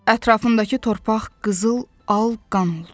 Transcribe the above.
Ətrafındakı torpaq qızıl, al qan oldu.